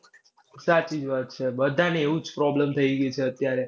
સાચી જ વાત છે. બધાને એવું જ problem થઈ ગયું છે અત્યારે.